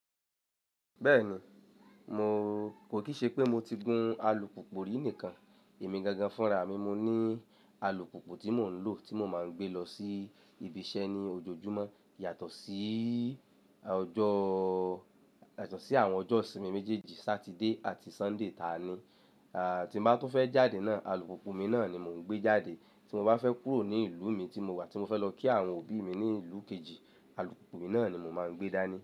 Bẹ́ẹ̀ni, mo kò kì í ṣe pé mo ti gun alùpùpù rí nìkan, èmi gangan fúnra mi mo ní alùpùpù tí mò ń lò tí mo máa ń gbé lọ sí ibi iṣẹ́ ní ojoojúmọ́ yàtọ̀ sí àwọn ọjọ́ ìsinmi méjèèjì Saturday àti Sunday ta ni tí mo bá tún fẹ́ jáde náà, alùpùpù mi náà ni mò ń gbé jáde. Tí mo bá fẹ́ kúrò ní ìlú mi tí mo wà tí mo fẹ́ lọ kí àwọn òbí mi ní ìlú kejì, alùpùpù mi náà ni mò máa ń gbé dání.